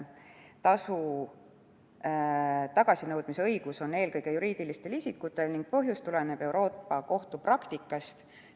Tasu tagasinõudmise õigus on eelkõige juriidilistel isikutel ning põhjus tuleneb Euroopa Kohtu praktikast.